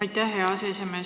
Aitäh, hea aseesimees!